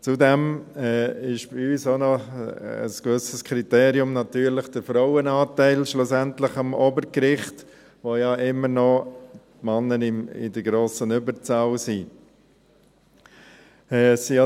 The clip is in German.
Zudem ist ein gewisses Kriterium bei uns natürlich schlussendlich auch der Frauenanteil am Obergericht, an dem ja die Männer immer noch in der grossen Überzahl sind.